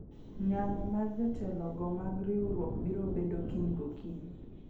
ng'anyo mar jotelo go mag riwruok biro bedo kiny gokinyi